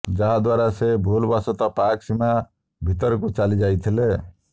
ଯାହାଦ୍ୱାରା ସେ ଭୁଲବଶତଃ ପାକ୍ ସୀମା ଭିତରକୁକୁ ଚାଲି ଯାଇଥିଲେ